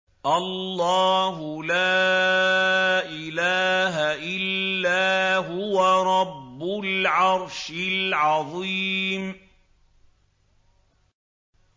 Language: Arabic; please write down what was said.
اللَّهُ لَا إِلَٰهَ إِلَّا هُوَ رَبُّ الْعَرْشِ الْعَظِيمِ ۩